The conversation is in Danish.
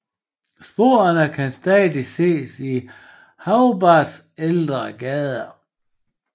Sporene kan stadig ses i Hobarts ældre gader